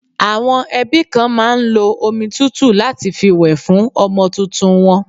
Àwọn ẹbí kan máa ń lo omi tútù láti fi wẹ̀ fún àwọn ọmọ tuntun won.